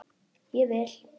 Ég vil!